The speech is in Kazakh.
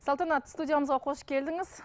салтанат студиямызға қош келдіңіз